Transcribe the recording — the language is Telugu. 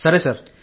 సరే సార్